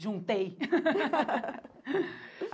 Juntei!